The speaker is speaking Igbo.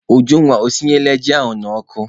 Ujunwa, o sinyela ji ahụ n'ọkụ?